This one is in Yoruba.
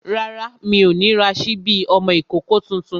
Rárá, mi ò ní ra sípí ọmọ ìkókó tuntun